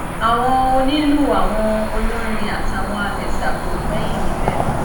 àwọn onílù àwọn olórin àtàwọn àmẹsà kò gbẹyìn níbẹ